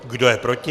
Kdo je proti?